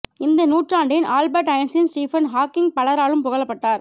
இந்த நூற்றாண்டின் Albert Einstein Stephen Hawking பலராலும் புகழப்பட்டார்